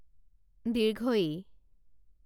ঈ